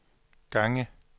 gange